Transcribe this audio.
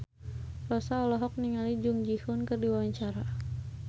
Rossa olohok ningali Jung Ji Hoon keur diwawancara